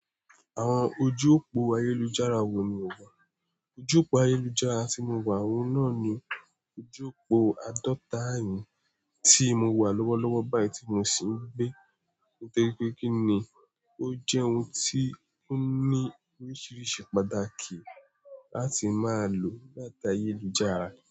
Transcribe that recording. Àwọn ojú òpó ayélujára wo ni o wà? Ojú òpó ayélujára tí mo wà, òun náà ni ojú òpó àádọ́ta ẹ̀yìn tí mo wà lọ́wọ́lọ́wọ́ báyìí tí mo sì ń gbé. Nítorí pé kí ni, ó jẹ́ ohun tí ó ní oríṣiríṣi pàtàkì láti máa lò láti ayélujára.